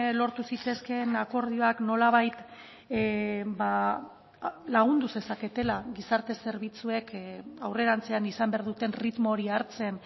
lortu zitezkeen akordioak nolabait ba lagundu zezaketela gizarte zerbitzuek aurrerantzean izan behar duten erritmo hori hartzen